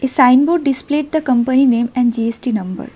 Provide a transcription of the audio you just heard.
A signboard displayed the company name and G_S_T number.